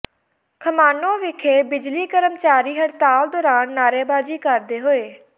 ਖਮਾਣੋਂ ਵਿਖੇ ਬਿਜਲੀ ਕਰਮਚਾਰੀ ਹੜਤਾਲ ਦੌਰਾਨ ਨਾਅਰੇਬਾਜ਼ੀ ਕਰਦੇ ਹੋਏ